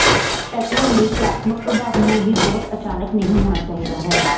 pattern ਲਈ ਕਲਾਤਮਕ ਪ੍ਰਭਾਵ ਨੂੰ ਵੀ ਬਹੁਤ ਅਚਾਨਕ ਨਹੀ ਹੋਣਾ ਚਾਹੀਦਾ ਹੈ